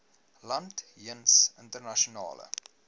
land jeens internasionale